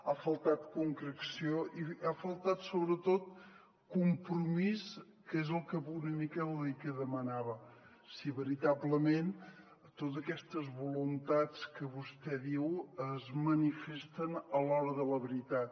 ha faltat concreció i ha faltat sobretot compromís que és una mica el que demanava si veritablement totes aquestes voluntats que vostè diu es manifesten a l’hora de la veritat